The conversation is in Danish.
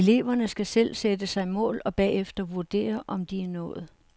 Eleverne skal selv sætte sig mål og bagefter vurdere om de er nået.